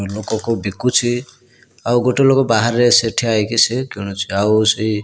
ଲୋକ କଉ ବିକୁଚି ଆଉ ଗୋଟେ ଲୋକ ବାହାରେ ସେ ଠିଆହୋଇକି କିଣୁଛି ଆଉ ସେ --